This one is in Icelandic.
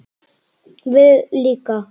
Við líka?